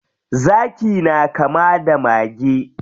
Zaki na kama da mage.